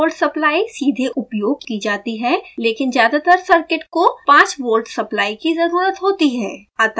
यह 12v supply सीधे उपयोग की जाती है लेकिन ज़्यादातर सर्किट को 5v सप्लाई की ज़रुरत होती है